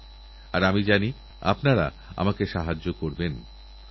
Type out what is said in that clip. আমাদেরদেশে যেসব গর্ভবতী মায়েরা আছেন তাঁদের জীবনহানির চিন্তা কখনো কখনো খুব ভাবায়